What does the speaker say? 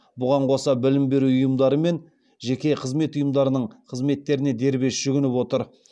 бұған қоса білім беру ұйымдары жеке қызмет ұйымдарының қызметтеріне дербес жүгініп отыр